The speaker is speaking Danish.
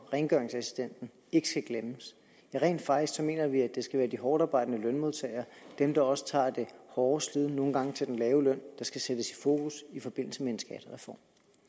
rengøringsassistenterne ikke skal glemmes rent faktisk mener vi at det skal være de hårdtarbejdende lønmodtagere dem der også tager det hårde slid nogle gange til den lave løn der skal sættes i fokus i forbindelse med en skattereform